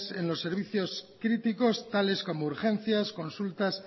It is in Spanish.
en los servicios críticos tales como urgencias consultas